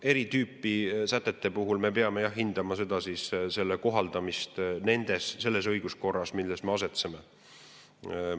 Eri tüüpi sätete puhul me peame hindama nende kohaldamist selles õiguskorras, milles me asetseme.